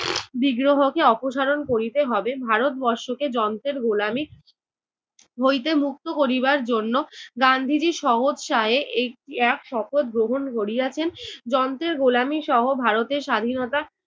বিগ্রহকে অপসারণ করিতে হবে। ভারতবর্ষকে যন্ত্রের গোলামী হইতে মু্ক্ত করিবার জন্য গান্ধিজী স্ব-উৎসাহে এ~ এক শপথ গ্রহণ করিয়াছেন। যন্ত্রের গোলামী সহ ভারতের স্বাধীনতা